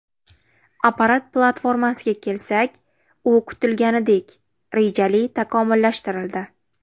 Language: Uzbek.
Apparat platformasiga kelsak, u kutilganidek, rejali takomillashtirildi.